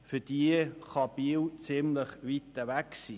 Für sie kann Biel ziemlich weit weg sein.